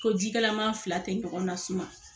Ko jikalaman fila te ɲɔgɔn na suma.